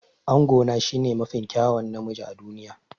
Angona shine mafi kyawun namiji a duniya.